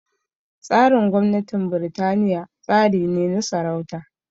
Tsarin gwamnatin Birtaniya tsari ne na sarauta